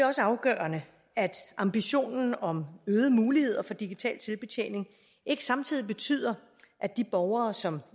også afgørende at ambitionen om øgede muligheder for digital selvbetjening ikke samtidig betyder at de borgere som